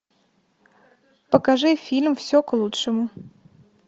покажи фильм все к лучшему